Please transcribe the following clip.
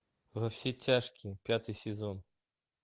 во все тяжкие пятый сезон